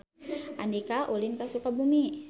Andika ulin ka Sukabumi